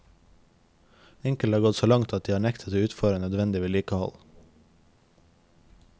Enkelte har gått så langt at de har nektet å utføre nødvendig vedlikehold.